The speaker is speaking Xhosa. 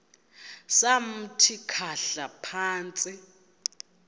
samthi khahla phantsi